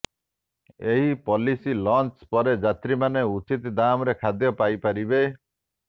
ଏହି policy launch ପରେ ଯାତ୍ରୀମାନେ ଉଚିତ ଦାମରେ ଖାଦ୍ୟ ପାଇପାରିବେ